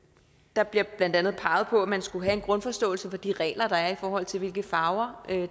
der bliver blandt andet peget på at man skulle have en grundforståelse for de regler der er i forhold til hvilke farver